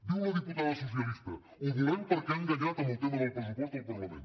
diu la diputada socialista ho volem perquè ha enganyat amb el tema del pressupost al parlament